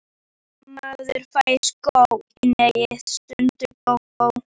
Maður fær sko í hnén, stundi Gógó.